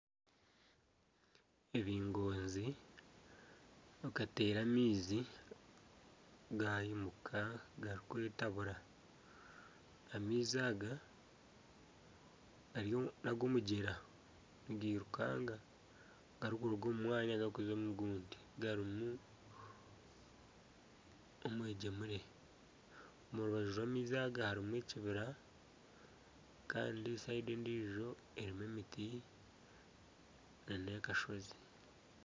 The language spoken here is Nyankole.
Ebingoonzi bikateera amaizi gayimuka garikwetabura . Amaizi aga n'ag'omugyera nigairukanga garikuruga omu mwanya garikuza omu gundi garimu omwegyemure. Omu rubaju rw'amaizi aga harimu ekibira kandi orubaju orundi harimu emiti n'akashozi.